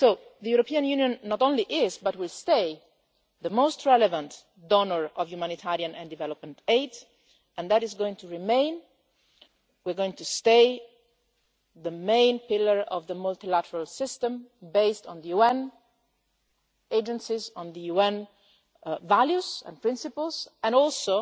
The European Union not only is, but will stay, the most relevant donor of humanitarian and development aid. That is going to remain. We are going to stay the main pillar of the multilateral system based on the UN agencies and UN values and principles, as well